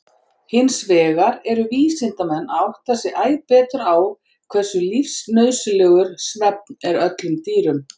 Hinsvegar eru vísindamenn að átta sig æ betur á hversu lífsnauðsynlegur svefn er öllum dýrum.